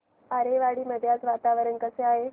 आरेवाडी मध्ये आज वातावरण कसे आहे